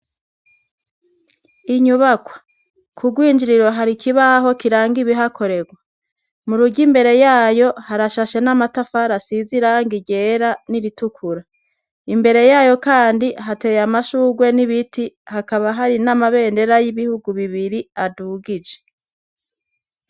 Inyubakwa, k'ugwinjiriro hari ikibaho kiranga ibihakorerwa. Mu rugo imbere yayo harashashe n'amatafari asize irangi ryera n'iritukura. Imbere yayo kandi hateye amashugwe n'ibiti hakaba hari n'amabendera y'ibihugu bibiri adugije.